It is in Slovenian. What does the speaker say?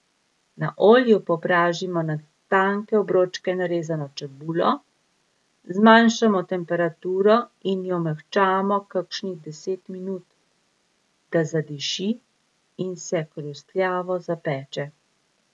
Na olju popražimo na tanke obročke narezano čebulo, zmanjšamo temperaturo in jo mehčamo kakšnih deset minut, da zadiši in se hrustljavo zapeče.